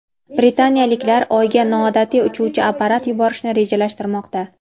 Britaniyaliklar Oyga noodatiy uchuvchi apparat yuborishni rejalashtirmoqda.